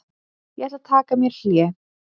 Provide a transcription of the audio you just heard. Ég ætla að taka mér hlé.